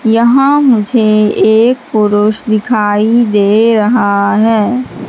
यहां मुझे एक पुरुष दिखाई दे रहा है।